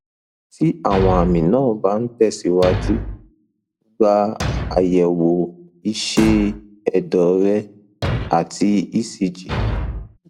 tí àwọn àmì náà bá ń ń tẹsíwájú gba àyẹwò iṣẹ ẹdọ rẹ àti ecg